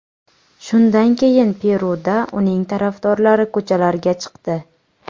Shundan keyin Peruda uning tarafdorlari ko‘chalarga chiqdi.